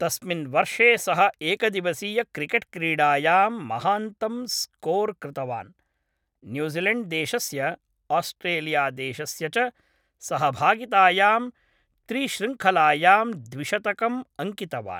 तस्मिन् वर्षे सः एकदिवसीयक्रिकेट् क्रीडायां महान्तं स्कोर् कृतवान्, न्यूज़िलेण्ड्देशस्य, आस्ट्रेलियादेशस्य च सहभागितायां त्रिश्रृङ्खलायां द्विशतकम् अङ्कितवान्।